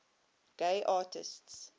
gay artists